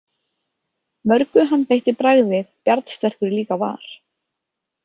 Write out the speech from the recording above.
Mörgu hann beitti bragði bjarnsterkur líka var.